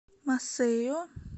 масейо